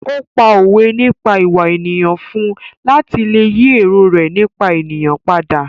Ó pá òwe nípa ìwà ènìyàn fún un láti lè yí èrò rẹ nípa ènìyàn padà.